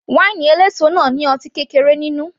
Wáínì eléso náà ní ọtí kékeré nínú